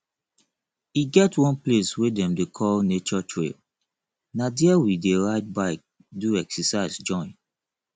e get one place wey dem dey call nature trail na dia we dey ride bike do excercise join